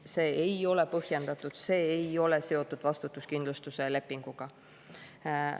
See ei ole põhjendatud, see ei ole seotud vastutuskindlustuse lepinguga.